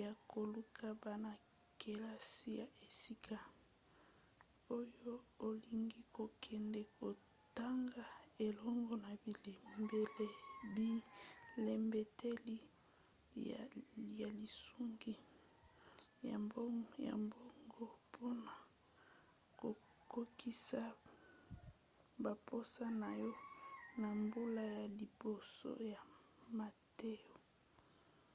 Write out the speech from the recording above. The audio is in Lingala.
ya koluka bana-kelasi ya esika oyo olingi kokende kotanga elongo na bilembeteli ya lisungi ya mbongo mpona kokokisa bamposa na yo na mbula ya liboso ya mateya